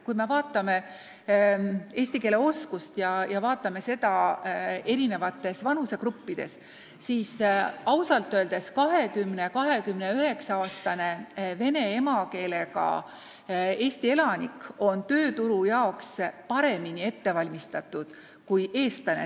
Kui me vaatame eesti keele oskust eri vanusegruppides, siis ausalt öeldes 20–29-aastane vene emakeelega Eesti elanik on tööturu jaoks paremini ette valmistatud kui eestlane.